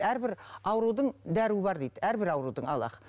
әрбір аурудың дәруі бар дейді әрбір аурудың аллах